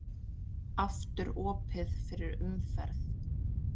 Aftur opið fyrir umferð